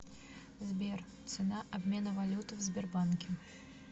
сбер цена обмена валюты в сбербанке